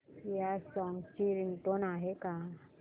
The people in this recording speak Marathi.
या सॉन्ग ची रिंगटोन आहे का